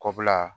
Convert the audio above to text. Kɔbila